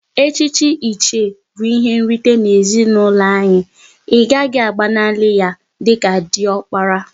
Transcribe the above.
Echichi Iche bụ ihe nrite n'ezinụlọ anyị, ị gaghị agbanali ya dịka diokpara!